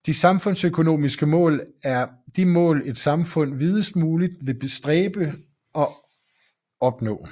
De samfundsøkonomiske mål er de mål et samfund videst muligt vil stræbe efter at opnå